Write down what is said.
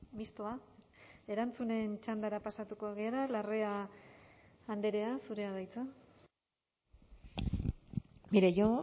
mistoa erantzunen txandara pasatuko gara larrea andrea zurea da hitza mire yo